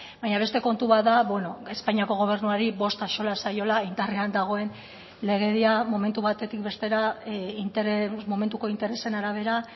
baina beste kontu bat da espainiako gobernuari bost axola zaiola indarrean dagoen legedia momentu batetik bestera momentuko interesen arabera